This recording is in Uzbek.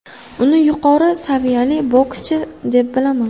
Uni yuqori saviyali bokschi deb bilaman.